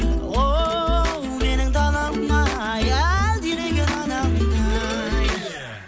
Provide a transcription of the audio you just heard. оу менің далам ай әлдилеген анамдай